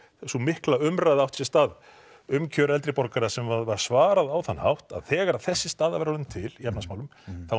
sú mikla umræða sem átti sér stað um kjör eldri borgara sem var svarað á þann hátt að þegar þessi staða væri orðin til í efnahagsmálum þá